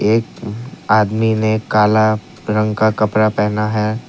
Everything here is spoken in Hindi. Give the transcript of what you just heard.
एक आदमी ने काला रंग का कपड़ा पहना है।